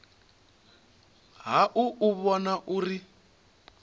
ha u u vhona uri